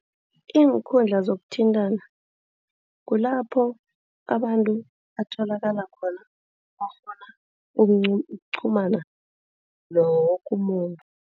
Iinkundla zokuthintana kulapho abantu batholakala khona bakghona ukuqhumana nawo woke umuntu.